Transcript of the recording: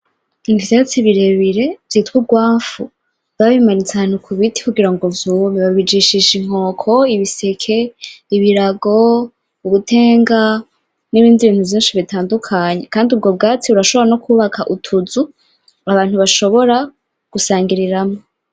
Ivyatsi birebire vyitwa ugwanfu, babimanitse no ku biti kugira ngo vyume, babijishisha inkoko, ibiseke, ibirago, ubutenga n’ibindi bintu vyinshi bitandukanye, kandi ubwo bwatsi burashobora no kwubaka utuzu abantu bashobora kusangiriramwo.